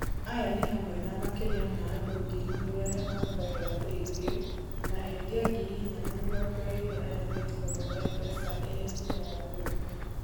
Aya nĩ hamwe na makĩria ma andũ ngiri igĩrĩ arĩa mahũthagĩra PayBill, na endia ngiri inya na mĩrongo ĩĩrĩ arĩa metĩkagĩra M-PESA ĩrĩ njĩra ya kũrĩha.